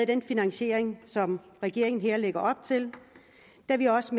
den finansiering som regeringen her lægger op til da vi også